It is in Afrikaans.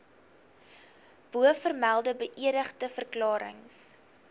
bovermelde beëdigde verklarings